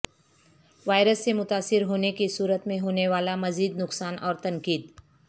virus سے متاثر ہونے کی صورت میں ہونا والا مزید نقصان اور تنقید